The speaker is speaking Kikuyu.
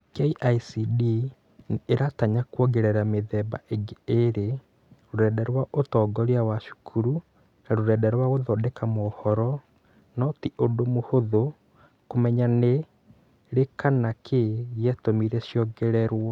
KICD nĩ ĩratanya kwongerera mĩthemba ĩngĩ ĩĩrĩ: rũrenda rwa ũtongoria wa cukuru na rũrenda rwa gũthondeka maũhoro, no ti ũndũ mũhũthũ kũmenya nĩ rĩ kana nĩ kĩĩ gĩatũmire ciongererwo.